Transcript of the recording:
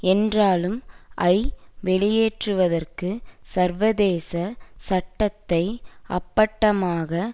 என்றாலும் ஐ வெளியேற்றுவதற்கு சர்வதேச சட்டத்தை அப்பட்டமாக